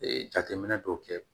jateminɛ dɔw kɛ